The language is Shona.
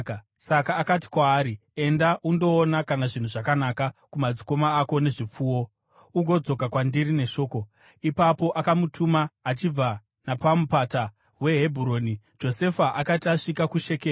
Saka akati kwaari, “Enda undoona kana zvinhu zvakanaka kumadzikoma ako nezvipfuwo, ugodzoka kwandiri neshoko.” Ipapo akamutuma achibva napaMupata weHebhuroni. Josefa akati asvika kuShekemu,